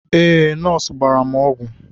Ee nọọsụ gbara m ọgwụ